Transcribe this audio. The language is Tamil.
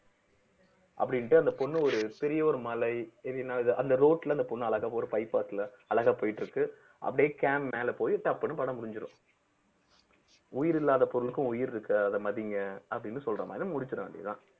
அப்படின்னுட்டு அந்த பொண்ணு ஒரு பெரிய ஒரு மலை இது அந்த road ல அந்த பொண்ணு அழகா ஒரு bypass ல அழகா போயிட்டு இருக்கு அப்படியே cam மேல போயி டப்புன்னு படம் முடிஞ்சிரும் உயிரில்லாத பொருளுக்கும் உயிர் இருக்கு அதை மதிங்க அப்படின்னு சொல்ற மாதிரி முடிச்சிற வேண்டியதுதான்